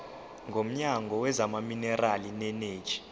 womnyango wezamaminerali neeneji